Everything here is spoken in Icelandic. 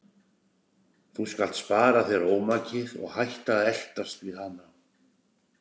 Þú skalt spara þér ómakið og hætta að eltast við hana.